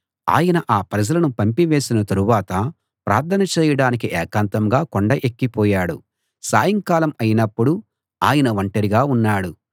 ఆయన ఆ ప్రజలను పంపివేసిన తరువాత ప్రార్థన చేయడానికి ఏకాంతంగా కొండ ఎక్కిపోయాడు సాయంకాలం అయినప్పుడు ఆయన ఒంటరిగా ఉన్నాడు